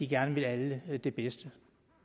gerne vil alle det bedste